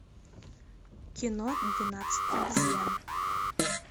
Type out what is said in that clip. кино двенадцать обезьян